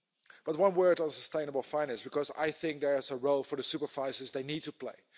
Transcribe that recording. But one word on sustainable finance, because I think there is a role the supervisors they need to play.